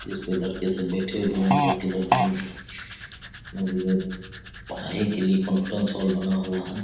इसमे लड़के सब बैठे हुए हैं लड़के लड़कियाँ पढ़ाई के लिए कॉनफेरेन्स हॉल बना हुआ है।